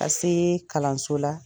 se kalanso la.